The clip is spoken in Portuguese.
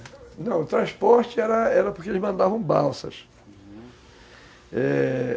É. Não, o transporte era porque eles mandavam balsas, Uhum, é...